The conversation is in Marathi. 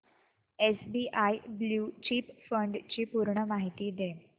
एसबीआय ब्ल्यु चिप फंड ची पूर्ण माहिती दे